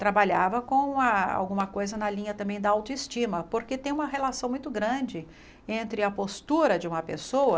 Trabalhava com alguma coisa na linha também da autoestima, porque tem uma relação muito grande entre a postura de uma pessoa...